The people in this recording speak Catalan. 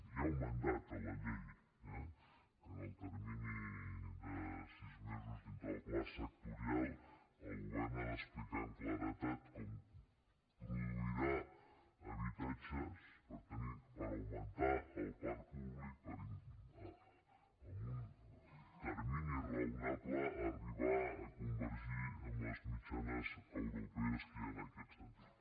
hi ha un mandat a la llei eh que en el termini de sis mesos dintre del pla sectorial el govern ha d’explicar amb claredat com produirà habitatges per augmentar el parc públic per en un termini raonable arribar a convergir amb les mitjanes europees que hi ha en aquest sentit